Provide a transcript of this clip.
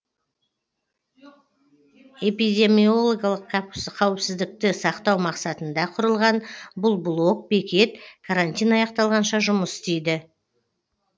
эпидемиомологиялық қауіпсіздікті сақтау мақсатында құрылған бұл блок бекет карантин аяқталғанша жұмыс істейді